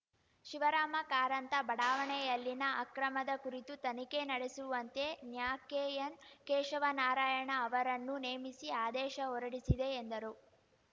ಶಿವರಾಮ ಕಾರಂತ ಬಡಾವಣೆಯಲ್ಲಿನ ಅಕ್ರಮದ ಕುರಿತು ತನಿಖೆ ನಡೆಸುವಂತೆ ನ್ಯಾಕೆಎನ್‌ ಕೇಶವ ನಾರಾಯಣ ಅವರನ್ನು ನೇಮಿಸಿ ಆದೇಶ ಹೊರಡಿಸಿದೆ ಎಂದರು